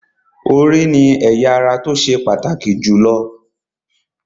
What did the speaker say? Orí ni ẹ̀ya ara tó ṣe pàtàkì jù lọ